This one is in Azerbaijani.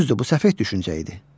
Düzdür, bu səfeh düşüncə idi.